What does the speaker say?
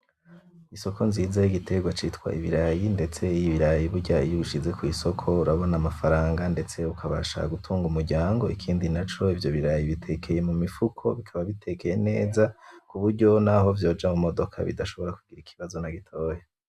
Isoko nziza y'igiterwa ciza citwa Ibirayi, ndetse Ibirayi burya iy'ubishize kwisoko urabona amafaranga ndetse ukabasha gutunga umuryango .Ikindi naco ivyo birayi bitekeye mumifuko, biba bitekeye neza kuburyo naho vyoja mumodoka bidashobora kugira ikibazo nagitoya.